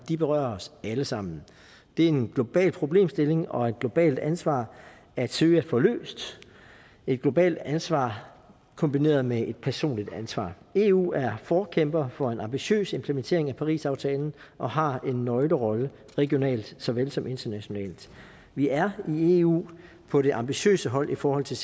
berører os alle sammen det er en global problemstilling og et globalt ansvar at søge at få løst et globalt ansvar kombineret med et personligt ansvar eu er forkæmper for en ambitiøs implementering af parisaftalen og har en nøglerolle regionalt såvel som internationalt vi er i eu på det ambitiøse hold i forhold til